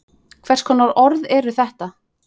Hvers konar orð eru þetta?